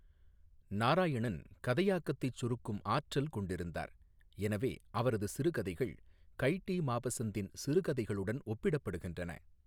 நாராயணன் கதையாக்கத்தைச் சுருக்கும் ஆற்றல் கொண்டிருந்தார், எனவே அவரது சிறுகதைகள் கய் டீ மாபஸந்தின் சிறுகதைகளுடன் ஒப்பிடப்படுகின்றன.